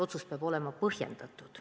Otsus peab olema põhjendatud.